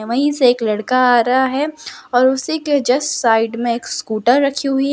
वहीं से एक लड़का आ रहा है और उसी के जस्ट साइड में स्कूटर रखी हुई है।